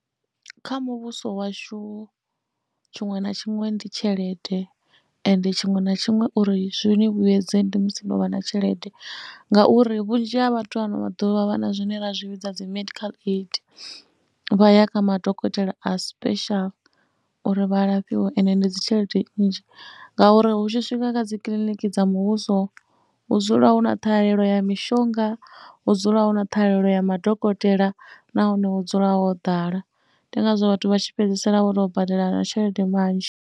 Kha muvhuso washu tshiṅwe na tshiṅwe ndi tshelede ende tshiṅwe na tshiṅwe uri zwi ni vhuyedze ndi musi no vha na tshelede ngauri vhunzhi ha vhathu ano maḓuvha vha na zwine vha zwi vhidza dzi medical aid. Vha ya kha madokotela a special uri vha lafhiwe ende ndi dzi tshelede nnzhi ngauri hu tshi swika kha dzi kiliniki dza muvhuso hu dzula hu na ṱhahalelo ya mishonga, hu dzula hu na ṱhahalelo ya madokotela nahone hu dzula ho ḓala. Ndi ngazwo vhathu vha tshi fhedzisela vho tou badela tshelede manzhi.